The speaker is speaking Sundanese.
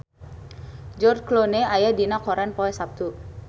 George Clooney aya dina koran poe Saptu